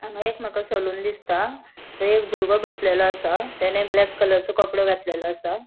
हांगा एक मका सलून दिसता थय एक भुर्गो बोसलोलो असा तेने ब्लॅक कलरचो कपड़ों घातलेलो असा.